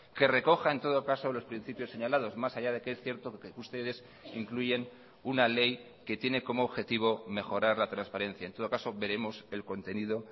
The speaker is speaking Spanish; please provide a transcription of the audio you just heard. que recoja en todo caso los principios señalados más allá de que es cierto que ustedes incluyen una ley que tiene como objetivo mejorar la transparencia en todo caso veremos el contenido